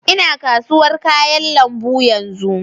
Ina kasuwar kayan lambu yanzu